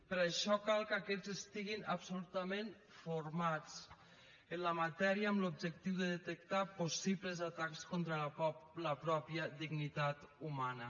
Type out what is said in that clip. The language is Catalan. per això cal que aquests estiguin absolutament formats en la matèria amb l’objectiu de detectar possibles atacs contra la pròpia dignitat humana